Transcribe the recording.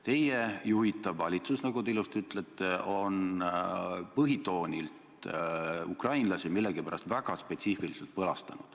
Teie juhitav valitsus, nagu te ilusti ütlete, on põhitoonilt millegipärast ukrainlasi väga spetsiifiliselt põlastanud.